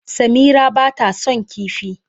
Samira ba ta son kifi.